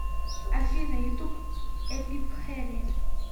афина ютуб эпипхэни